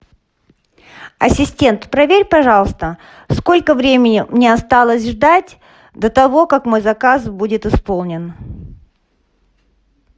ассистент проверь пожалуйста сколько времени мне осталось ждать до того как мой заказ будет исполнен